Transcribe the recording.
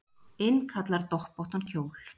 Innkallar doppóttan kjól